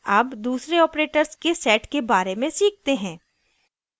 अब दूसरे operators के set के बारे में सीखते हैं